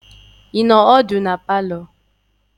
Ị nọ ọdụ na palọ?